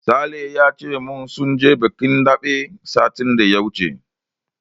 Sale ya ce min sun je bikin daɓe satin da ya wuce.